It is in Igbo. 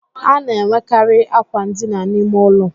A na-enwekarị àkwà ndina n'ime ụlọ